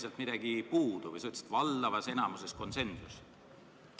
Kas midagi oli puudu, et sa rääkisid valdavas enamuses konsensusest?